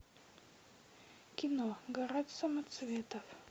кино гора самоцветов